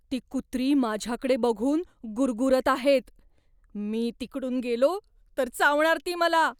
ती कुत्री माझ्याकडे बघून गुरगुरत आहेत. मी तिकडून गेलो तर चावणार ती मला.